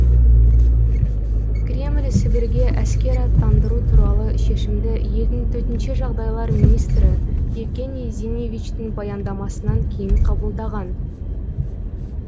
кремль сібірге әскер аттандыру туралы шешімді елдің төтенше жағдайлар министрі евгений зинивечтің баяндамасынан кейін қабылдаған